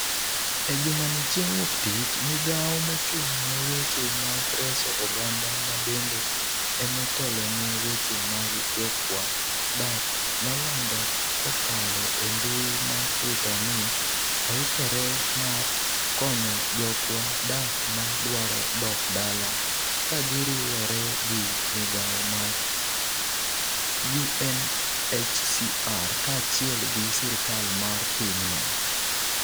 e jumani chieng' wuok tich, migao mochung ne weche mag reso oganda ma bende emotelone weche mag jokwa dak nolando kokalo e mbui mar twitter ni oikore" mar konyo jokwa dak ma dwaro dok dala kagiriwore gi migao mar UNHCR kachiel gi sirkal mar piny no